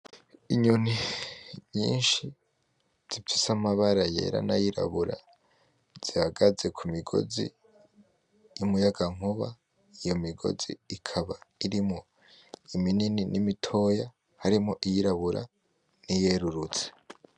Inyoni nyinshi zifise amabara yera nayirabura zihagaze ku migozi y'umuyagankuba, iyo migozi ikaba irimwo iminini na mitoya harimwo iyirabura n’iyererutse.